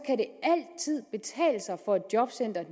for et jobcenter at